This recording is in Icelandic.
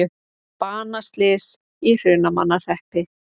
Banaslys í Hrunamannahreppi